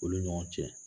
Olu ni ɲɔgɔn cɛ